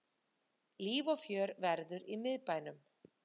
Líf og fjör verður í miðbænum